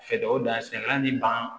Fɛdɛw da sɛnɛla ni ban